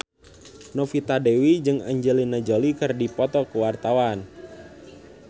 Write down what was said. Novita Dewi jeung Angelina Jolie keur dipoto ku wartawan